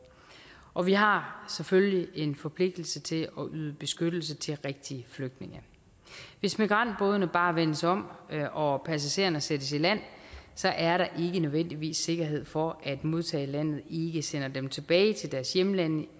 og vi har selvfølgelig en forpligtelse til at yde beskyttelse til rigtige flygtninge hvis migrantbådene bare vendes om og passagererne sættes i land så er der ikke nødvendigvis sikkerhed for at modtagerlandet ikke sender dem tilbage til deres hjemlande